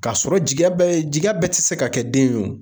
K'a sɔrɔ jigiya bɛ ye jigiya bɛɛ te se ka kɛ den ye o